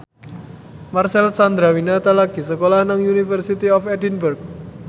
Marcel Chandrawinata lagi sekolah nang University of Edinburgh